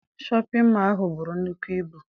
Shọpịn mọọ ahụ buru nnukwu ibu.